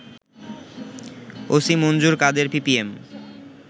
OC Manjur Kader PPM